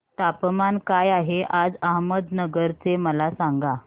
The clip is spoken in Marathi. तापमान काय आहे आज अहमदनगर चे मला सांगा